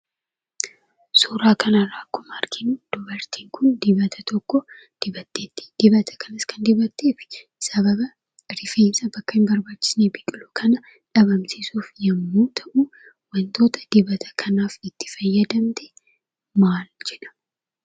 Suuraa kana irraa akkuma arginu, dubartiin kun dibata tokko dibatteetti. Dibata kanas kan dibatteef sababa rifeensa bakka hin barbaachifnetti biqilu kana dhabaamsiisuuf yommuu ta'u, wantoota dibata kanaaf itti fayyadamte maal jedha?